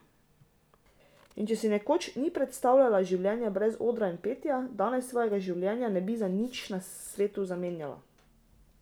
In če si nekoč ni predstavljala življenja brez odra in petja, danes svojega življenja ne bi za nič na svetu zamenjala.